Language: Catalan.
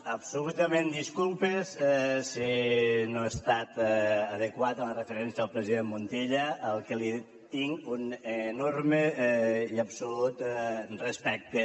absolutament disculpes si no he estat adequat en la referència al president montilla al qui tinc un enorme i absolut respecte